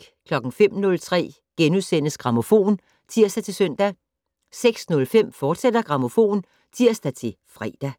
05:03: Grammofon *(tir-søn) 06:05: Grammofon, fortsat (tir-fre)